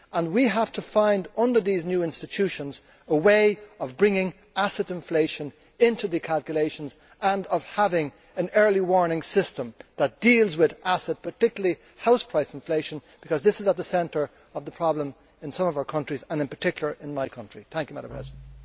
We have to find, under these new institutions, a way of bringing asset inflation into the calculations and of having an early warning system that deals with assets, particularly house price inflation, because this is at the centre of the problem in some of our countries and in my country in particular.